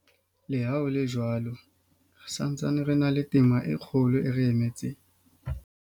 Le ha ho le jwalo, re sa ntse re na le tema e kgolo e re emetseng.